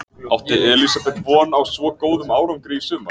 Átti Elísabet von á svo góðum árangri í sumar?